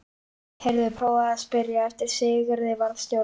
Heyrðu. prófaðu að spyrja eftir Sigurði varðstjóra.